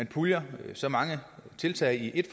puljer så mange tiltag i ét